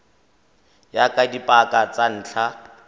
ya ka dipaka tsa ntlha